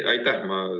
Aitäh!